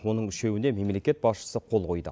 оның үшеуіне мемлекет басшысы қол қойды